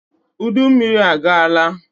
Udummiri agaala